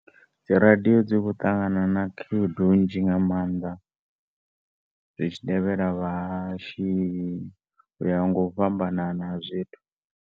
Dzi radio dzi kho ṱangana na khaedu nnzhi nga maanḓa zwitshi tevhela vhahashi uya nga u fhambanana ha zwithu.